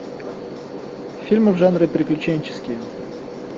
фильмы в жанре приключенческие